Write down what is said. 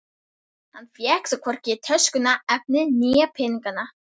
Hann fékk þó hvorki töskuna, efnið né peninga.